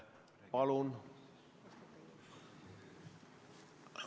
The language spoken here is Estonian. Palun!